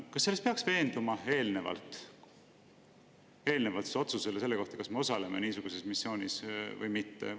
Kas selles peaks veenduma enne, kui tehakse otsus selle kohta, kas me osaleme mingis missioonis või mitte?